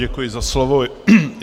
Děkuji za slovo.